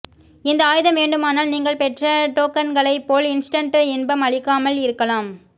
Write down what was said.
இந்த ஆயுதம் வேண்டுமானால் நீங்கள் பெற்ற டோக்கன்களைப்போல் இன்ஸ்டன்ட் இன்பம் அளிக்காமல் இருக்கலாம்